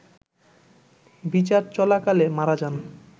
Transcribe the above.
বিচার চলাকালে মারা যান